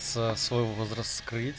свой возраст